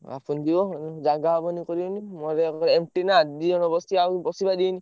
ବାପୁନ୍ ଯିବ ଜାଗା ହବନି କରିବନି। ମୋ ଗାଡି MT ନା ଦି ଜଣ ବସିବେ ଆଉ ବସିପାରିବେନି।